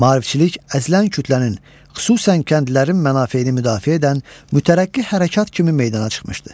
Maarifçilik əzilən kütlənin, xüsusən kəndlilərin mənafeyini müdafiə edən mütərəqqi hərəkat kimi meydana çıxmışdı.